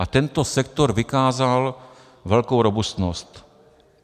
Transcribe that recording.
A tento sektor vykázal velkou robustnost.